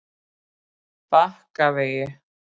Bakkavegi